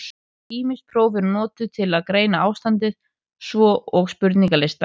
Ýmis próf eru notuð til að greina ástandið, svo og spurningalistar.